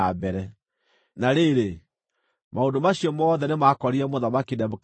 Na rĩrĩ, maũndũ macio mothe nĩmakorire Mũthamaki Nebukadinezaru.